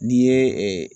N'i ye